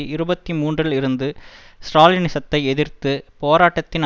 இருபத்தி மூன்றில் இருந்து ஸ்ராலினிசத்தை எதிர்த்து போராட்டத்தின்